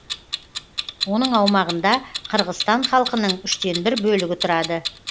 оның аумағында қырғызстан халқының үштен бір бөлігі тұрады